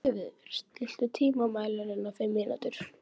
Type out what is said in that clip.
Freyviður, stilltu tímamælinn á fimm mínútur.